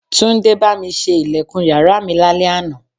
Túndé bá mi ṣe ilẹ̀kùn yàrá mi lálẹ́ àná